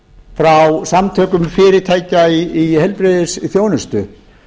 bréf frá samtökum fyrirtækja í heilbrigðisþjónustu